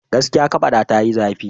Gaskiya! kafata tayi zafi.